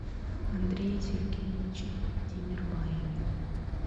андрее сергеевиче тимербаеве